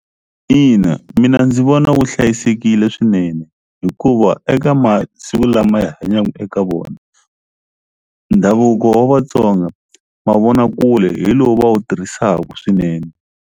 Ina mina ndzi vona wu hlayisekile swinene hikuva eka masiku lama hi hanyaka eka vona ndhavuko wa Vatsonga mavonakule hi lowu va wu tirhisaku swinene.